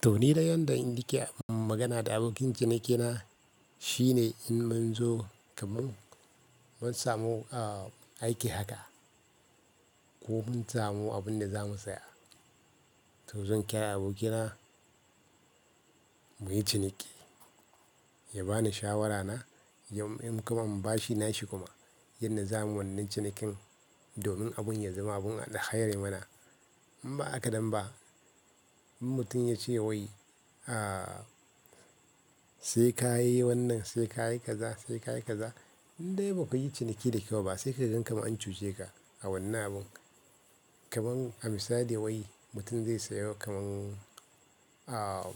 To ni yadda in nike magana da abokin cinikina, shi ne in mun zo kamin mun samu, ah, aiki haka ko mun samu abin da za mu saya. To zan kira abokina muyi ciniki, ya bani shawara na, in kuma in ba shi nashi kuma yanda zamun wannan cinikin domin abun ya zama abun alhairi mana. In ba haka nan ba, in mutum ya ce wai, a, "sai ka yi wannan, sai ka yi kaza, sai ka yi kaza," in dai ba ka yi ciniki da kyau ba sai kaga kamar an cuce ka a wannan abun. Kaman, a misali wai mutum zai sayo kaman, ah,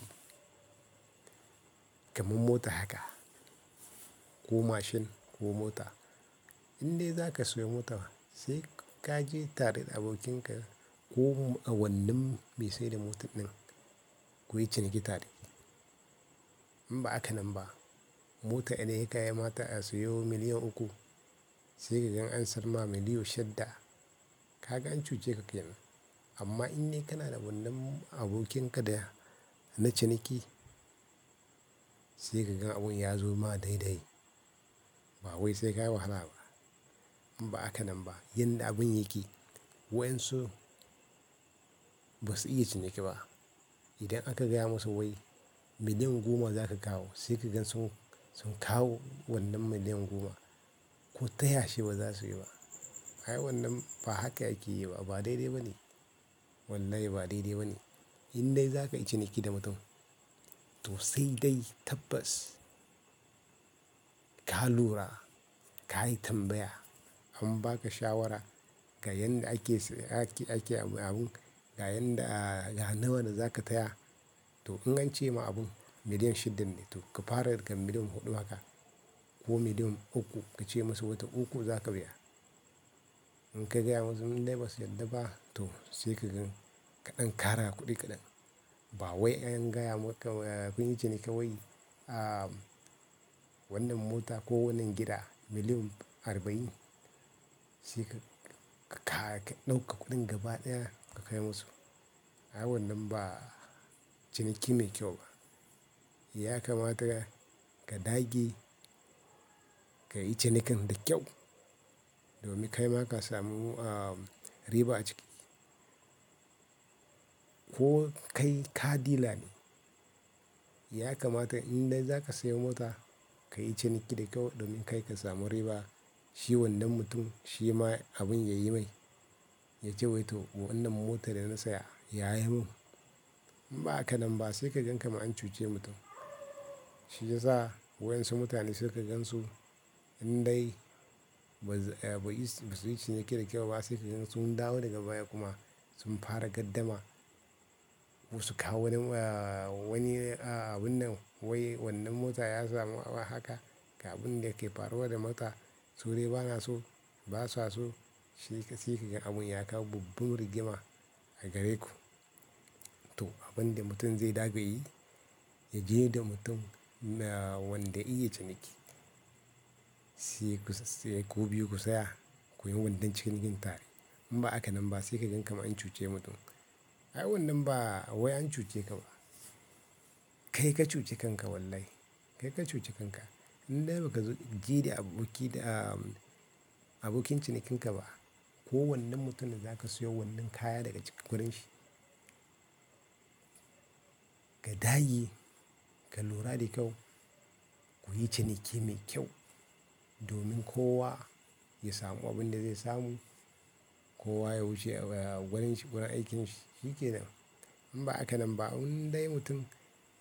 kaman mota haka ko mashin ko mota. In dai za ka sayo mota, sai ka je tare da abokinka ko a wannan me saida mota din kuyi ciniki tare. In ba haka nan ba, mota idan ya kamata a sayo miliyan uku sai ka gan an sarma miliyon shidda, ka gan an cuce ka kenan. Amma in dai kana da wannan abokin ka da na ciniki, sai ka gan abun ya zo ma daidai. Ba wai sai ka yi wahala ba. In ba haka nan ba, yanda abun yake, waɗansu ba su iya ciniki ba. Idan aka gaya musu wai miliyan goma za ka kawo sai ka gan sun, sun kawo wannan miliyan goma. Ko taya shi ba za su yi ba. Ai wannan ba haka ake yi ba, ba daidai ba ne. Wallahi ba daidai ba ne. In dai za ka yi ciniki da mutum to sai dai tabbas ka lura, ka yi tambaya, an ba ka shawara ga yanda ake abun, ga yanda, a, ga nawa da za ka taya. To in an ce ma abun miliyan shidan ne to ka fara daga miliyan huɗu haka ko miliyan uku, ka ce masa wata uku za ka biya. In ka gaya masu, in dai ba su yarda ba, to sai ka dan kara kuɗi kaɗan. Ba wai an gaya maka, kunyi ciniki wai, ah, wannan mota ko wannan gida miliyan arba'in sai ka, ka ƙara ka ɗauka kuɗin gaba ɗaya ka kai musu. Ai wannan ba ciniki mai kyau ba. Ya kamata ka dage ka yi cinikin da kyau domin kai ma ka samu, ah, riba a ciki. Ko kai car dila ne. Ya kamata in dai za ka sayi mota ka yi ciniki da kyau don kai ka samu riba, shi wannan mutum shi ma abin yayi mai, ya ce wai to wannan mota da na saya yayi mun. In ba haka nan ba sai ka gan kamar an cuce mutum. Shi yasa waɗansu mutane sai ka gan su in dai ba su yi ciniki da kyau ba, sai ka gan sun dawo daga baya kuma sun fara gardama. Wasu kawo wani, ah, wani, ah, abun nan wai wannan mota ya samu abu haka ga abun da yake faruwa da mota. To ni bana so, basa so. Sai ka, sai ka ga abun ya kawo babban rigima a gare ku. To abun da mutum zai dage yayi, ya je da mutum na, wanda ya iya ciniki. Sai ku, sai ku biyu ku tsaya, kuyi wannan cinikin tare. In ba haka nan ba sai ka gan kamar an cuce mutum. Ai wannan ba wai an cuce ka ba. Kai ka cuce kanka wallahi. Kai ka cuce kanka. In dai baka zo ji aboki da, ah, abokin cinikinka ba, ko wannan mutumin da za lka saya wannan kaya daga gurin shi. Ka dage, ka lura da kyau, kuyi ciniki mai kyau domin kowa ya samu abin da zai samu, kowa ya wuce, ah, wurin shi, wurin aikin shi, shikenan. In ba haka nan ba in dai mutum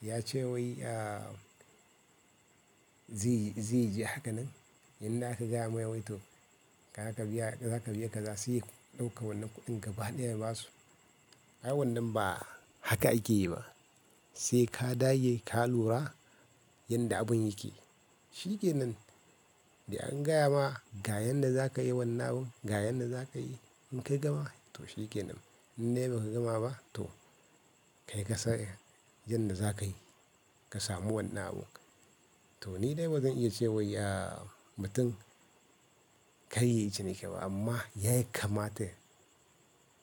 ya ce wai, ah, zai, zai je haka nan, yanda aka gaya masa wai to kaga ka biya, zaka biya kaza, sai ya ɗauka wannan kuɗin gaba ɗaya ya basu. Ai wannan ba haka ake yi ba. Sai ka dage, ka lura yanda abun yake. Shikenan. Da an gaya ma ga yanda zaka yi wannan abun, ga yanda zaka yi, in ka gama, to shikenan. In dai ba ka gama ba to kai ka san yanda zaka yi ka samu wannan abun. To ni dai ba zan iya ce wai ah, mutum ka iya yin ciniki ba, amma yaiamata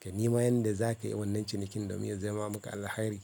ka nema yanda zaka yi wannan cinikin domin ya zama maka alhairi.